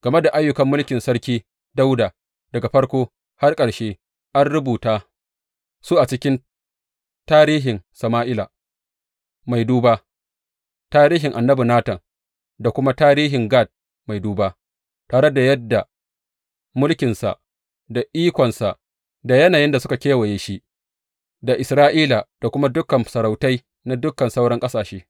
Game da ayyukan mulkin Sarki Dawuda, daga farko har ƙarshe, an rubuta su a cikin tarihin Sama’ila mai duba, tarihin annabi Natan da kuma tarihin Gad mai duba, tare da yadda mulkinsa da ikonsa da yanayin da suka kewaye shi da Isra’ila da kuma dukan masarautai na dukan sauran ƙasashe.